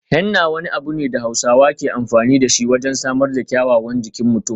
Henna wani abu ne da Hausawa ke amfani da shi wajen samar da kyawawan jikin mutum.